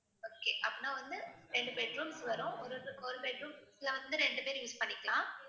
okay அப்படின்னா வந்து ரெண்டு bed rooms வரும் ஒரு~ ஒரு bed rooms ல வந்து ரெண்டு பேரு use பண்ணிக்கலாம்